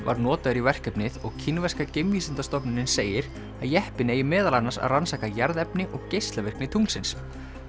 var notaður í verkefnið og kínverska segir að jeppinn eigi meðal annars að rannsaka jarðefni og geislavirkni tunglsins